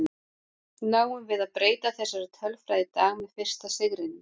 Náum við að breyta þessari tölfræði í dag með fyrsta sigrinum?